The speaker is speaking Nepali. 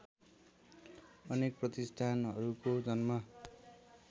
अनेक प्रतिष्ठानहरूको जन्म